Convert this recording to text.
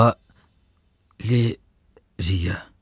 Va leriya.